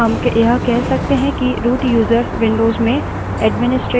वह एक विशेषाधिकारों वाला व्यक्ति है